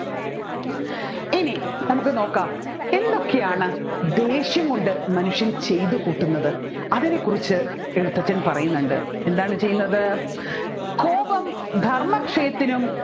ഇനി നമ്മുക്ക് നോക്കാം ദേഷ്യം കൊണ്ട് മനുഷ്യൻ ചെയ്തുകൂട്ടുന്നത് അതിനെ കുറിച്ച് എഴുത്തച്ഛൻ പറയുന്നുണ്ട് എന്താണ് ചെയ്യുന്നത് കോപം ധർമ്മക്ഷയത്തിനും